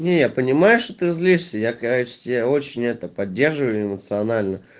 не я понимаю что ты злишься я короче тебя очень это поддерживаю эмоционально